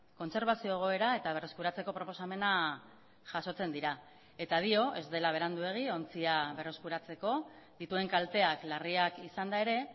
kontserbazio egoera eta berreskuratzeko proposamena jasotzen dira eta dio ez dela beranduegi ontzia berreskuratzeko dituen kalteak larriak izanda ere